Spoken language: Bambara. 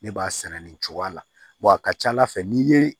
Ne b'a sɛnɛ nin cogoya la a ka ca ala fɛ n'i ye